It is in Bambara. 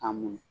A mun